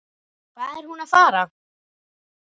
Hvað er hún að fara?